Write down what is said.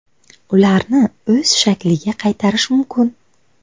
Ularni o‘z shakliga qaytarish mumkin.